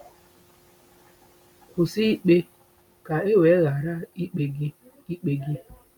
“Kwụsị ikpe ka e wee ghara ikpe gị.” ikpe gị.”